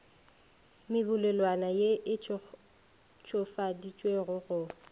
mebolelwana ye e ntšhofaditšwego go